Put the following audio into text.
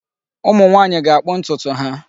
Ụmụnwaanyị ga-akpụ ntụtụ ha.